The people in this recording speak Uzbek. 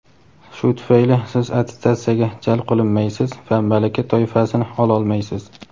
Shu tufayli siz attestatsiyaga jalb qilinmaysiz va malaka toifasini ololmaysiz.